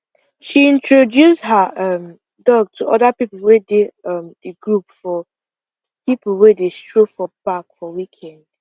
she introduce her um dog to other people wey dey um the group for people wey dey stroll for park for weekend